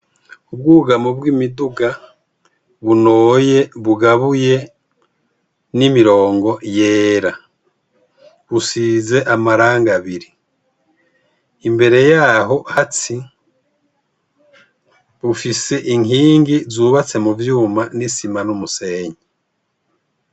Ubwugamo bw' imiduga bunoye bugabuye n' imirongo yera busize amarangi abiri imbere yaho bufise inkingi zubatse muvyuma n' isima n' umusenyi.